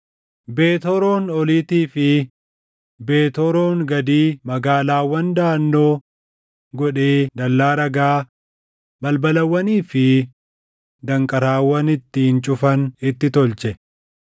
Beet Horoon oliitii fi Beet Horoon gadii magaalaawwan daʼannoo godhee dallaa dhagaa, balbalawwanii fi danqaraawwan ittiin cufan itti tolche;